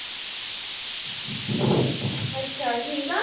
ਅੱਛਾ ਠੀਕ ਆ?